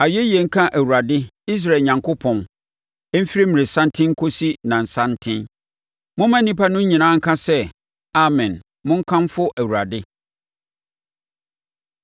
Ayɛyie nka Awurade, Israel Onyankopɔn, ɛmfiri mmerɛsanten nkɔsi nnasanten. Momma nnipa no nyinaa nka sɛ, “Amen!” Monkamfo Awurade.